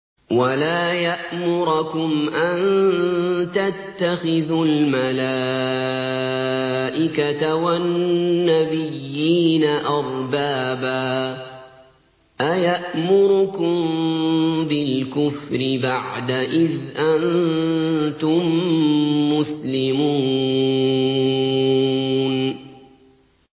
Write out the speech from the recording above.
وَلَا يَأْمُرَكُمْ أَن تَتَّخِذُوا الْمَلَائِكَةَ وَالنَّبِيِّينَ أَرْبَابًا ۗ أَيَأْمُرُكُم بِالْكُفْرِ بَعْدَ إِذْ أَنتُم مُّسْلِمُونَ